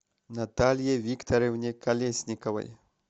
наталье викторовне колесниковой